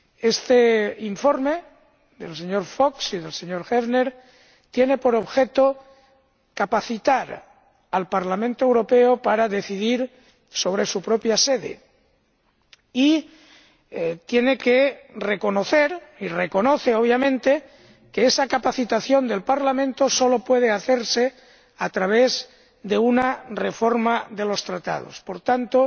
Este informe del señor Fox y del señor Häfner tiene por objeto capacitar al Parlamento Europeo para decidir sobre su propia sede y reconoce, obviamente, que esa capacitación del Parlamento solo puede hacerse a través de una reforma de los Tratados. Por tanto,